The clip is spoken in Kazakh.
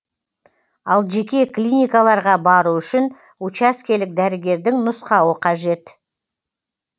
ал жеке клиникаларға бару үшін учаскелік дәрігердің нұсқауы қажет